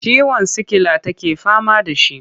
Ciwon sikila take fama da shi.